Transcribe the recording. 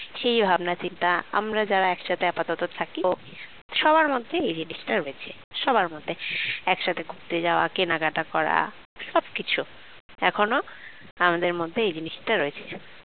সেই ভাবনাচিন্তা আমরা যারা একসাথে আপাতত থাকি সবার মধ্যেই এই জিনিসটা রয়েছে সবার মধ্যে একসাথে ঘুরতে যাওয়া কেনাকাটা করা সবকিছু এখনো আমাদের মধ্যে এই জিনিসটা রয়েছে